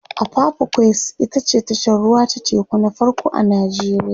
apapa quays ita ce tashar ruwa ta teku na farko a nijeriya